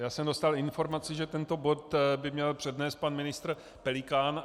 Já jsem dostal informaci, že tento bod by měl přednést pan ministr Pelikán.